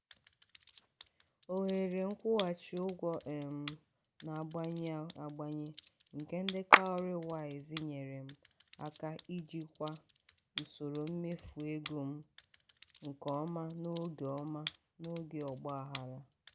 ohere nkwụghachi ụgwọ um na-agbanwe agbanwe nke ndị "cowrywise" nyere m aka ijikwa usoro mmefu ego m nke ọma n'oge ọma n'oge ọgbaghara.